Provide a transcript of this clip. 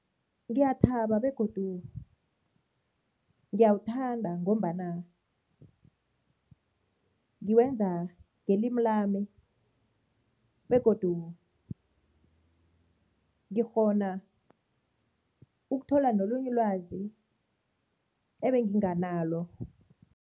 Ngiyathaba begodu ngiyawuthanda ngombana ngiwenza ngelimi lami begodu ngikghona ukuthola nolunye ulwazi ebenginganalo.